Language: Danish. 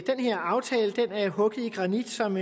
her aftale er hugget i granit som